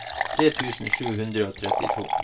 tre tusen sju hundre og trettito